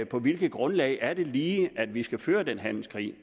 på hvilket grundlag er det lige at vi skal føre den handelskrig